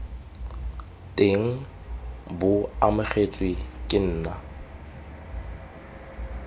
teng bo amogetswe ke nna